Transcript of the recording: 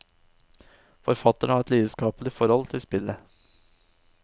Forfatterne har et lidenskapelig forhold til spillet.